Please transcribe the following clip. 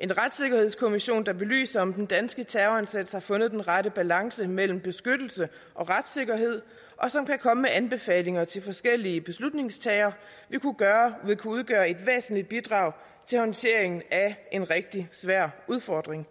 en retssikkerhedskommission der belyser om den danske terrorindsats har fundet den rette balance mellem beskyttelse og retssikkerhed og som kan komme med anbefalinger til forskellige beslutningstagere vil kunne udgøre et væsentligt bidrag til håndteringen af en rigtig svær udfordring